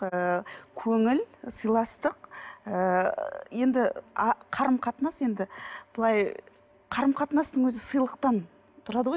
ыыы көңіл сыйластық ыыы енді қарым қатынас енді былай қарым қатынастың өзі сыйлықтан тұрады ғой